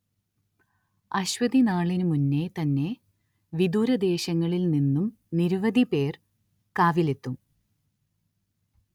അശ്വതിനാളിനു മുന്നേ തന്നെ വിദൂരദേശങ്ങളിൽ നിന്നും നിരവധി പേർ കാവിലെത്തും